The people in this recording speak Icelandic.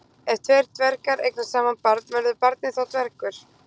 Ef tveir dvergar eignast saman barn, verður barnið þá dvergur?